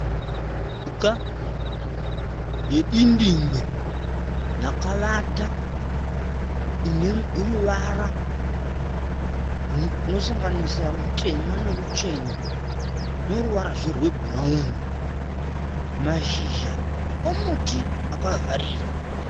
Mhuka yedindingwe yakavata ine ruvara runosanganisa rutema noruchena, noruvarazve rwebhurauni. Mashizha omuti akavharira.